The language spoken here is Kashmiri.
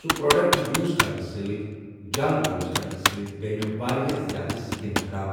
سُہ پرٛوڈَکٹ یوٗز کَرنہٕ سۭتۍ جَل یوٗز کَرنہٕ سۭتۍ گٔے مےٚ واریاہ زیادٕ سِکِن خراب